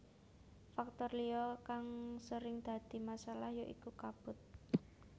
Faktor liya kang sering dadi masalah ya iku kabut